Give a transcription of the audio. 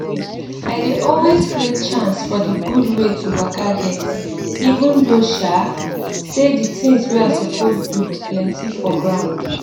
i dey always create chance for d gud wey to waka get even though um say d things wey i suppose do plenty for ground